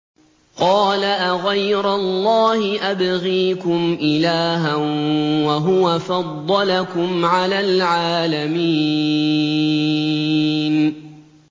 قَالَ أَغَيْرَ اللَّهِ أَبْغِيكُمْ إِلَٰهًا وَهُوَ فَضَّلَكُمْ عَلَى الْعَالَمِينَ